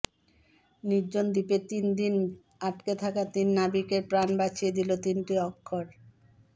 নির্জন দ্বীপে তিন দিন আটকে থাকা তিন নাবিকের প্রাণ বাঁচিয়ে দিল তিনটি অক্ষর